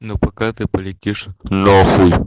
ну пока ты полетишь нахуй